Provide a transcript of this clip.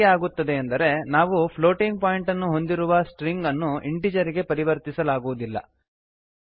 ಹೀಗೇಕೆ ಆಗುತ್ತದೆ ಎಂದರೆ ನಾವು ಪ್ಲೋಟಿಂಗ್ ಪಾಯಿಂಟನ್ನು ಹೊಂದಿರುವ ಸ್ಟ್ರಿಂಗನ್ನು ಇಂಟೀಜರ್ ಗೆ ಪರಿವರ್ತಿಸಲಾಗುವುದಿಲ್ಲ